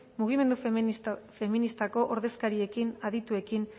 mugimendu feministako ordezkariekin adituekin